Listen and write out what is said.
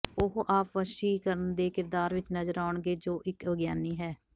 ਉਹ ਆਪ ਵਸੀਕਰਨ ਦੇ ਕਿਰਦਾਰ ਵਿੱਚ ਨਜ਼ਰ ਆਉਣਗੇ ਜੋ ਇੱਕ ਵਿਗਿਆਨੀ ਹੈ